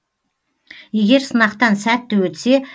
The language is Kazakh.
егер сынақтан сәтті өтсе